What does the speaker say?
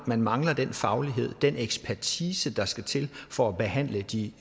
man mangler den faglighed den ekspertise der skal til for at behandle de